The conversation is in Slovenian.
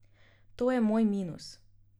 To je moj minus.